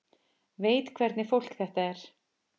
Veit hvernig fólk þetta er.